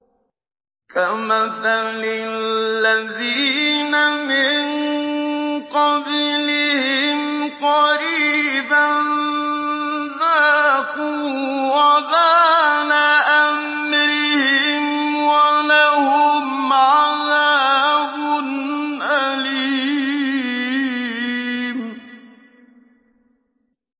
كَمَثَلِ الَّذِينَ مِن قَبْلِهِمْ قَرِيبًا ۖ ذَاقُوا وَبَالَ أَمْرِهِمْ وَلَهُمْ عَذَابٌ أَلِيمٌ